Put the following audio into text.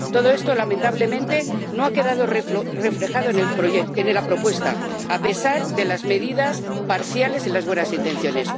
Todo esto, lamentablemente, no ha quedado reflejado en la propuesta, a pesar de las medidas parciales y las buenas intenciones.